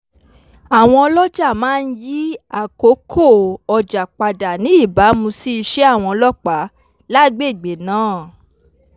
àwọn ọlọ́ja máa ń yí àkókò ọjà padà ní ìbámu sí ìṣe àwọn ọlọ́pàá lágbègbè náà